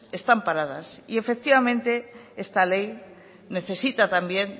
están paradas efectivamente esta ley necesita también